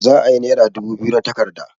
Za'a yi nera dubu biyu na takarda.